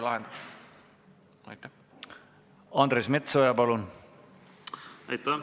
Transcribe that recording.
Andres Metsoja, palun!